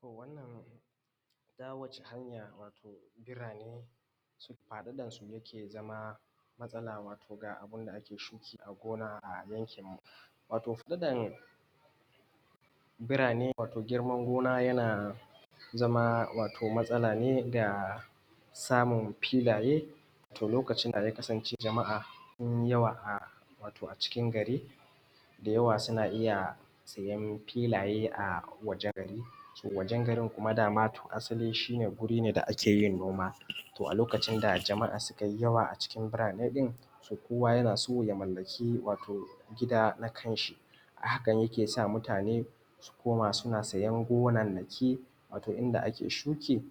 to wannan wacce hanya wato birane faɗaɗar su yake zama matsala ga abunda ake shuki a gona a yankin mu wato faɗaɗan birane wato girman gona yana zama matsala ne da samun filaye lokacin da ya kasance jama’a sun yi yawa a wato a cikin gari da yawa suna iya siyan filaye a wajen gari to wajen garin kuma dama to asali shi ne guri ne da ake yin noma to a lokacin da jama’a sukai yawa a cikin birane ɗin so kowa yana so ya mallaki wato gida na kan shi a hakan yake sa mutane su koma suna siyan gonannaki wato inda ake shuki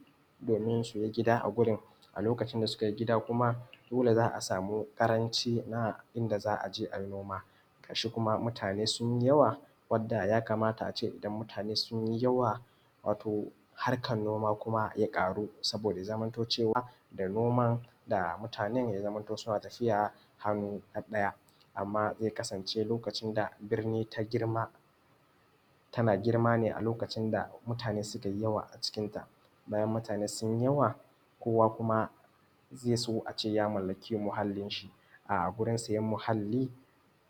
domin suyi gida a wurin a lokacin da sukai gida kuma dole za a samu ƙaranci na inda za a je ayi noma gashi kuma mutane sunyi yawa wanda ya kamata ace idan mutane sunyi yawa wato harkan noma kuma ya ƙaru saboda zamanto cewa da noman da mutane ya zamanto suna tafiya hannu ɗaɗɗaya amman zai kasance lokacin da birni ta girma tana girma ne a lokacin da mutane sukai yawa a cikin ta bayan mutane sun yi yawa kowa kuma zai so ace ya mallaki muhallin shi a gurin siyan muhalli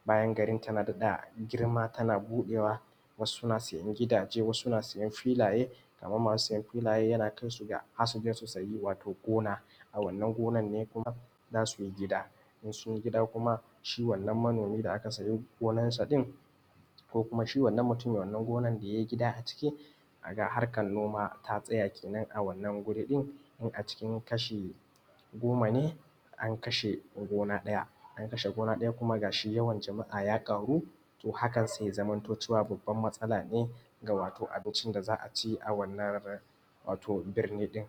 bayan garin tana da daɗa girma tana buɗewa wasu na siyan gidaje wasu na siyan filaye kaman masu siyan filaye yana kaisu ga har suyi gona a wannan gonan ne kuma zasu yi gida in sunyi gida kuma shi wannan manomi da aka sayi gonan sa ɗin ko kuma shi wannan mutumin wannan gonan da ya yi gida a ciki a ka ga harkan noma ta tsaya kenan a wannan guri ɗin in a ciki kasha goma ne an kashe gona ɗaya kuma gashi yawan jama’a ya ƙaru to hakan sai ya zamanto cewa babban matsala ne ga wato abincin da za a ci a wannan wato birni ɗin